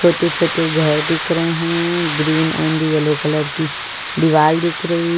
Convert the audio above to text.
छोटे-छोटे घर दिख रहे हैं ग्रीन एंड येलो कलर की दीवाल दिख रही।